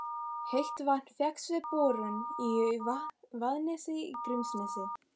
Heitt vatn fékkst við borun í Vaðnesi í Grímsnesi.